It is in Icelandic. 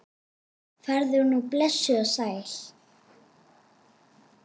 Farðu nú blessuð og sæl.